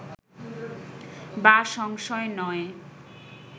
বা সংশয় নয়